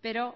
pero